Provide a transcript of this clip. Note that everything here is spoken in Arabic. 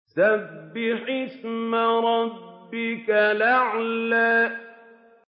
سَبِّحِ اسْمَ رَبِّكَ الْأَعْلَى